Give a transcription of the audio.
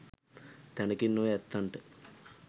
තැනකින් ඔය ඇත්තන්ට